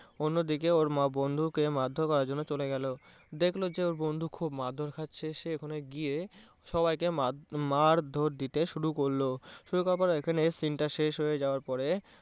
অন্য দিকে ওর মা বন্ধু কে মারধর করার জন্য চলে গেলো, দেখলো যে ওর বন্ধু খুব মারধর খাচ্ছে সে ওখানে গিয়ে সবাইকে মারধর দিতে শুরু করলো এখানে scene টা শেষ হয়ে যাওয়ার পরে